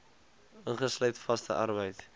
ingesluit vaste arbeid